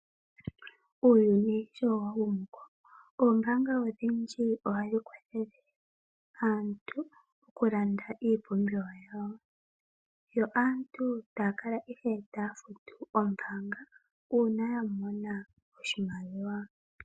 Uuyuni showa humu komeho oombaanga odhindji ohadhi kwathele aantu mokulanda iipumbiwa yawo. Yo aantu taya kala ihe taya futu ombaanga uuna ya mona oshimaliwa.